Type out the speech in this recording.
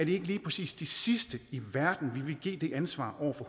ikke lige præcis de sidste i verden vi vil give det ansvar over